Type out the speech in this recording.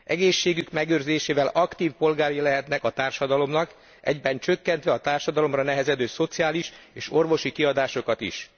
Egészségük megőrzésével aktív polgárai lehetnek a társadalomnak, egyben csökkentve a társadalomra nehezedő szociális és orvosi kiadásokat is.